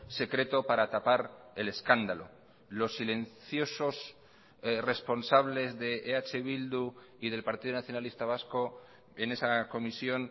secreto para tapar el escándalo los silenciosos responsables de eh bildu y del partido nacionalista vasco en esa comisión